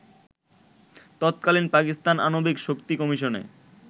তৎকালীন পাকিস্তান আণবিক শক্তি কমিশনে